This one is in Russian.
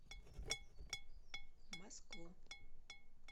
москву